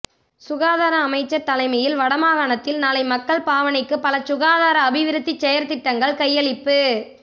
சுகாதார அமைச்சர் தலைமையில் வடமாகாணத்தில் நாளை மக்கள் பாவனைக்கு பல சுகாதார அபிவிருத்திச் செயற்திட்டங்கள் கையளிப்பு